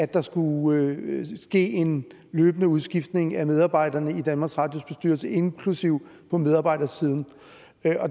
der skulle ske en løbende udskiftning af medarbejderne i danmarks radios bestyrelse inklusive på medarbejdersiden